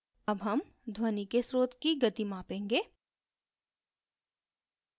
अब हम ध्वनि के स्रोत की गति मापेंगे